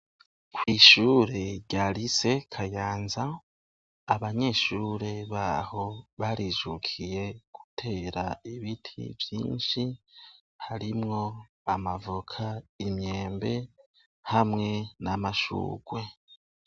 Kw'ishure rya Rise KAYANZA, abanyeshure baho barijukiye gutera ibiti vyinshi harimwo amavoka, imyembe hamwe n'amashurwe.